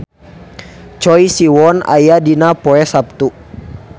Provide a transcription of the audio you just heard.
Choi Siwon aya dina koran poe Saptu